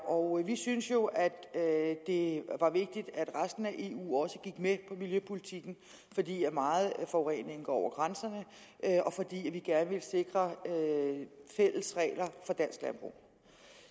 og vi syntes jo at det var vigtigt at resten af eu også gik med på miljøpolitikken fordi meget af forureningen går over grænserne og fordi vi gerne ville sikre fælles regler for dansk landbrug